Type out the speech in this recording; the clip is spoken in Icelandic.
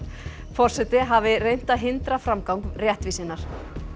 forseti hafi reynt að hindra framgang réttvísinnar